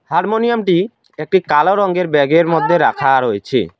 হারমোনিয়ামটি একটি কালো রঙ্গের ব্যাগের মদ্যে রাখা রয়ছে।